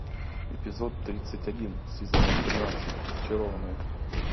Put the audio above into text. эпизод тридцать один сезона тринадцать зачарованные